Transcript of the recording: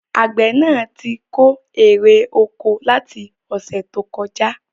Àgbẹ̀ náà tí kó èrè oko láti ọ̀sẹ̀ tó kọjá